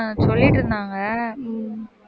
அஹ் சொல்லிட்டு இருந்தாங்க